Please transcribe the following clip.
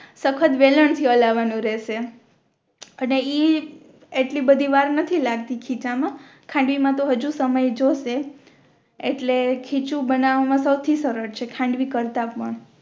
સખત વેલણ થી હલવાનું રેહશે અને ઇ એટલી બધી વાર નથી લગતી ખીચા મા ખાંડવી મા તો આજુ સમય જોઈશે એટલે ખીચું બનાવા મા સૌ થી સરળ છે ખાંડવી કરતાં પણ